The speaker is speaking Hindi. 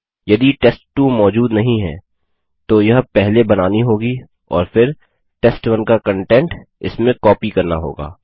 यदि टेस्ट2 मौजूद नहीं है तो यह पहले बनानी होगी और फिर टेस्ट1 का कन्टेंट इसमें कॉपी करना होगा